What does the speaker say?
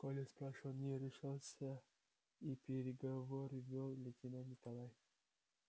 коля спрашивать не решался и переговоры вёл лейтенант николай